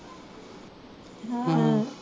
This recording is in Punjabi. ਹਾਂ